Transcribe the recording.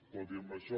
tot i amb això